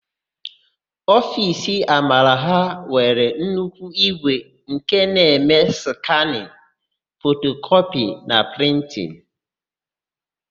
Ofiisi Amara ha nwere nnukwu ígwè nke na-eme skanịn, fotokọpị na prịntịn.